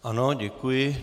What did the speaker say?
Ano, děkuji.